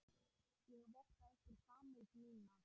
Ég votta ykkur samúð mína.